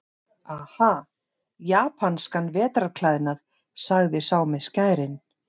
Aha, japanskan vetrarklæðnað, sagði sá með skærin.